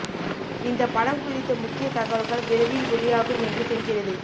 இந்த படம் குறித்த முக்கிய தகவல்கள் விரைவில் வெளியாகும் என்று தெரிகிறது